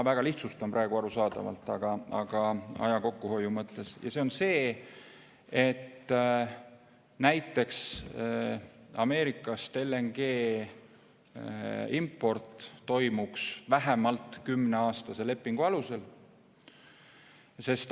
Ma arusaadavalt aja kokkuhoiu mõttes praegu väga lihtsustan, aga näiteks Ameerikast LNG import toimuks vähemalt kümneaastase lepingu alusel.